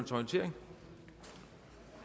til orientering